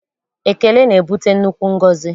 Ekele na-ebute nnukwu ngọzi.